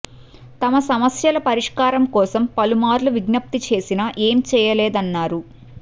తమ సమస్యల పరిష్కారం కోసం పలుమార్లు విజ్ఞప్తి చేసినా ఏం చేయలేదన్నారు